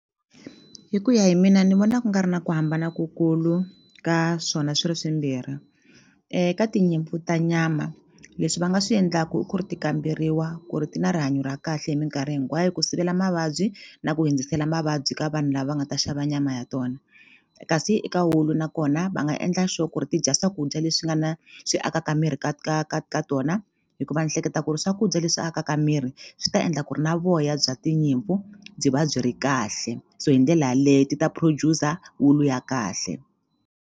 Hi ku ya hi mina ni vona ku nga ri na ku hambana ku kulu ka swona swi ri swimbirhi ka tinyimpfu ta nyama leswi va nga swi endlaku i ku ri ti kamberiwa ku ri ti na rihanyo ra kahle hi mikarhi hinkwayo ku sivela mavabyi na ku hindzisela mavabyi ka vanhu lava nga ta xava nyama ya tona kasi eka wulu nakona va nga endla sure ku ri ti dya swakudya leswi nga na swi akaka miri ka ka ka ka tona hikuva ni hleketa ku ri swakudya leswi akaka miri swi ta endla ku ri na voya bya tinyimpfu byi va byi ri kahle so hi ndlela yaleye ti ta producer wulu ya kahle.